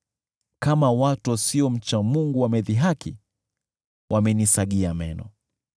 Kama watu wasiomcha Mungu, wamenidhihaki, wamenisagia meno.